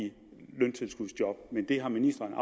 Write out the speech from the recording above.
løntilskudsjob men det har ministeren